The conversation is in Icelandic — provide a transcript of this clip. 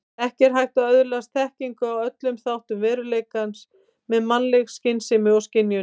Ekki er hægt að öðlast þekkingu á öllum þáttum veruleikans með mannleg skynsemi og skynjun.